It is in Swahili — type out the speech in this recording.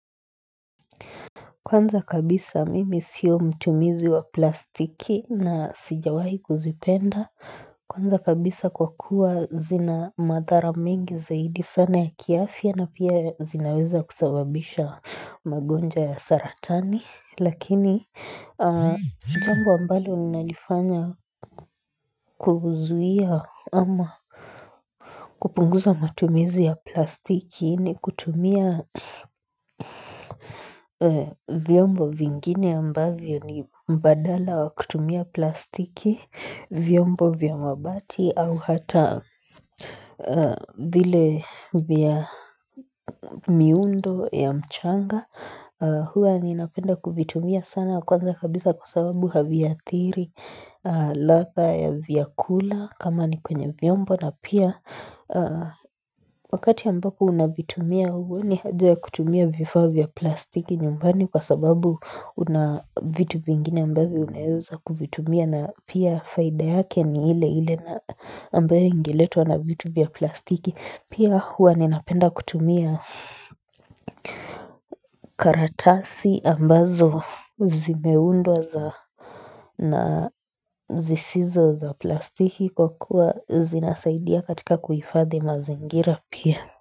Kwanza kabisa mimi sio mtumizi wa plastiki na sijawahi kuzipenda Kwanza kabisa kwa kuwa zina madhara mingi zaidi sana ya kiafya na pia zinaweza kusababisha magonja ya saratani Lakini jambo ambalo linanifanya kuhuzuhia ama kupunguza matumizi ya plastiki ni kutumia vyombo vingine ambavyo ni mbadala wa kutumia plastiki. Vyombo vya mabati au hata vile vya miundo ya mchanga Huwa ninapenda kuvitumia sana, kwanza kabisa kwa sababu haviathiri ladha ya vyakula kama ni kwenye vyombo, na pia. Wakati ambapo unavitumia, huo ni wakati wa kutumia vifaa vya plastiki nyumbani kwa sababu kuna vitu vingine ambavyo unaweza kuvitumia, na pia faida yake ni ile ile. Ambayo ingeletwa na vitu vya plastiki Pia huwa ninapenda kutumia karatasi ambazo zimeundwa za na zisizo za plastiki kwa kuwa zinasaidia katika kuifadhi mazingira pia.